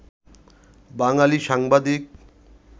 বাঙালি সাংবাদিক